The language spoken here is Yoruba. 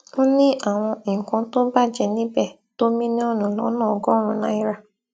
ó ní àwọn nǹkan tó bàjẹ níbẹ tó mílíọnù lọnà ọgọrùn náírà